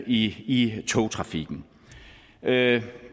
i togtrafikken det